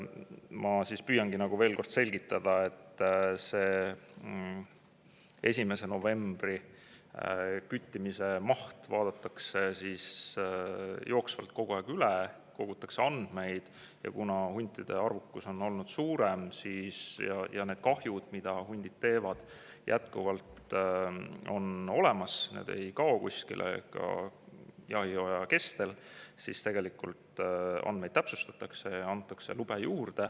Ma püüangi siis veel kord selgitada, et see 1. novembri küttimismaht vaadatakse jooksvalt kogu aeg üle, kogutakse andmeid ja kuna huntide arvukus on olnud suurem ja need kahjud, mida hundid teevad, jätkuvalt on olemas, need ei kao kuskile, ka jahihooaja kestel, siis andmeid täpsustatakse ja antakse lube juurde.